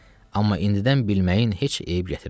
Amma indidən bilməyin heç eyb gətirməz.